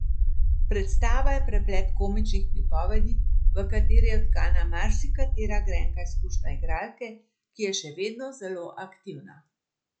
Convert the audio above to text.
Predstava je preplet komičnih pripovedi, v katere je vtkana marsikatera grenka izkušnja igralke, ki je še vedno zelo aktivna.